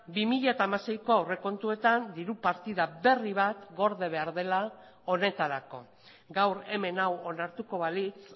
bi mila hamaseiko aurrekontuetan diru partida berri bat gorde behar dela honetarako gaur hemen hau onartuko balitz